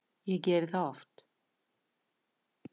Ég geri það oft